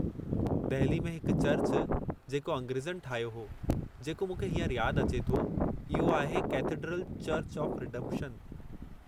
दहिली में हिक चर्चु जेको अंग्रेज़नि ठाहियो हो, जेको मूंखे हींअर याद अचे थो, इहो आहे कैथडर्ल चर्चु ऑफ़ रीडेम्पशन।